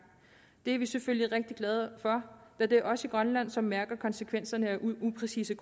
det er vi selvfølgelig rigtig glade for da det er os i grønland som mærker konsekvenserne af upræcise